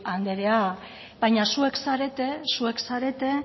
anderea baina zuek zarete